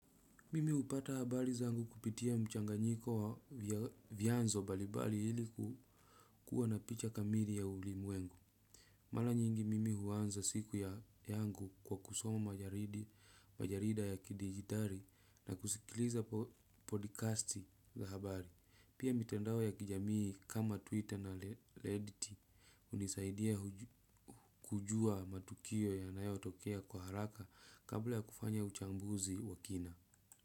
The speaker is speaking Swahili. Mimi hupata habari zangu kupitia mchanganyiko wa vyanzo mbalimbali ili kukua na picha kamili ya ulimwengu. Mara nyingi mimi huanza siku ya yangu kwa kusoma majarida ya kidijitari na kusikiliza podcasti za habari. Pia mitandao ya kijamii kama Twitter na Reddit hunisaidia kujua matukio ya nayo tokea kwa haraka kabla ya kufanya uchambuzi wa kina.